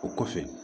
O kɔfɛ